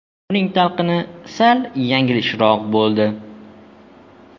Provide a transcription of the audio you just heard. Uning talqini sal yanglishroq bo‘ldi.